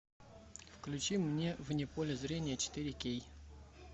включи мне вне поля зрения четыре кей